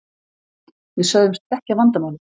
Við sögðumst þekkja vandamálið.